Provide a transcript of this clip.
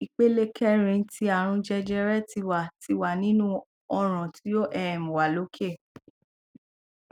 ipele kẹrin ti arun jẹjẹrẹ ti wa ti wa ninu ọran ti o um wa loke